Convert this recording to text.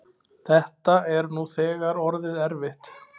Þetta er nú þegar orðið erfitt.